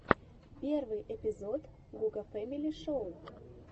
первый эпизод гука фэмили шоу